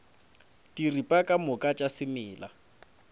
diripa ka moka tša semela